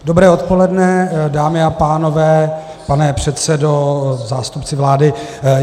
Dobré odpoledne, dámy a pánové, pane předsedo, zástupci vlády.